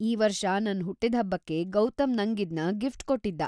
ಈ ವರ್ಷ ನನ್ ಹುಟ್ಟಿದ್ಹಬ್ಬಕ್ಕೆ ಗೌತಮ್‌ ನಂಗದ್ನ ಗಿಫ್ಟ್‌ ಕೊಟ್ಟಿದ್ದ.